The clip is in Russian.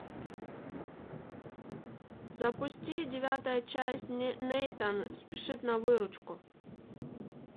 запусти девятая часть нейтан спешит на выручку